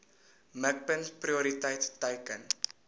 mikpunt prioriteit teiken